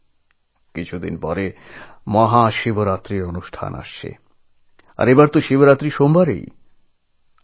আর কয়েকদিনের মধ্যে মহাশিবরাত্রি আসছে এবং এবার শিবরাত্রি সোমবার পড়েছে